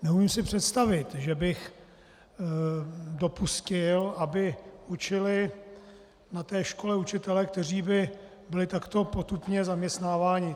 Neumím si představit, že bych dopustil, aby učili na té škole učitelé, kteří by byli takto potupně zaměstnáváni.